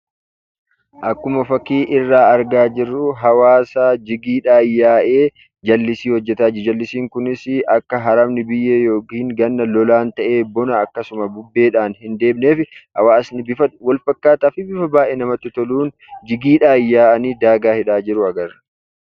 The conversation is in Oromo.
Akkuma fakkii irraa argaa jirru hawwaasa jigiidhaan yaa'ee daagaa qotaa jiruu dha. Daagaan kunis akka biyyeen Bona bubbee fi Ganna immoo lolaan akka hin haramneef hojjechaa kan jiranii dha.